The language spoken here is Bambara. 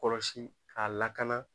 Kɔlɔsi k'a lakana